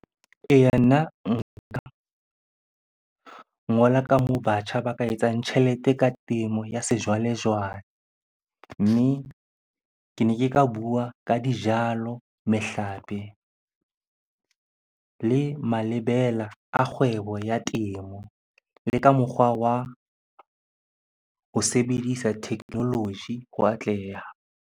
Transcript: Eya, nna ngola ka moo batjha ba ka etsang tjhelete ka temo ya sejwalejwale. Mme ke ne ke ka bua ka dijalo, mehlape le malebela a kgwebo ya temo, le ka mokgwa wa ho sebedisa technology ho atleha.